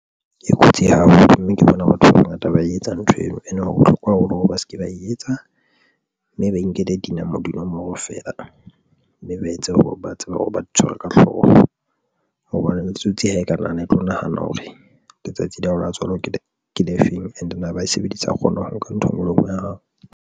E kotsi haholo mme ke bona batho ba bangata ba e etsa ntho eno. And ho bohlokwa haholo hore ba se ke ba etsa mme ba inkele dinomoro feela mme ba etse hore ba tsebang hore ba di tshware ka hloho hobane le ditsotsi ha e ka nahana e tlo nahana hore letsatsi la hao la tswalo ke ne ke le feng and ne ba e sebedisa a kgona ho nka ntho enngwe le enngwe ya hao.